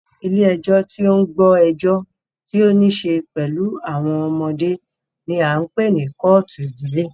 Ilé ẹjọ́ tí o ń gbọ́ ẹjọ́ tí o níṣe pẹlú àwọn ọmọdé ní a ń pé ní kọ́ọ̀tù ìdílé.